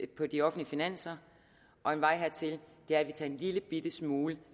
på de offentlige finanser og en vej hertil er at vi tager en lillebitte smule